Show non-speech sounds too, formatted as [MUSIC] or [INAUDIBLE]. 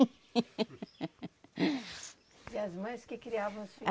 [LAUGHS] E as mães que criavam os filhos?